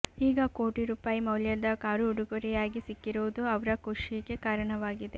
ಈಗ ಕೋಟಿ ರೂಪಾಯಿ ಮೌಲ್ಯದ ಕಾರು ಉಡುಗೊರೆಯಾಗಿ ಸಿಕ್ಕಿರುವುದು ಅವ್ರ ಖುಷಿಗೆ ಕಾರಣವಾಗಿದೆ